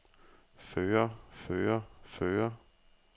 føre føre føre